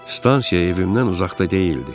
Stansiya evimdən uzaqda deyildi.